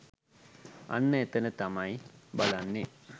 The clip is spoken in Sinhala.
අන්න එතැන තමයි බලන්නේ.